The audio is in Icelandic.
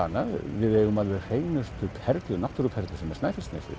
annað við eigum alveg hreinustu náttúruperlu sem er Snæfellsnesið